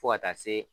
Fo ka taa se